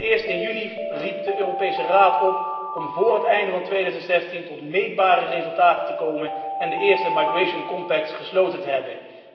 Allereerst, in juni riep de Europese Raad op om voor het einde van 2016 tot meetbare resultaten te komen en de eerste migratie overeenkomsten gesloten te hebben.